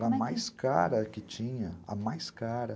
a mais cara que tinha, a mais cara.